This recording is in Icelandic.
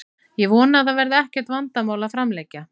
Ég vona að það verði ekkert vandamál við að framlengja.